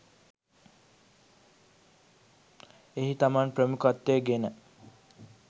එහි තමන් ප්‍රමුඛත්වය ගෙන